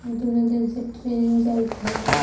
दूनो दिन से ट्रेन जाइ थय.